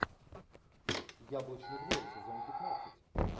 яблочный двор сезон пятнадцать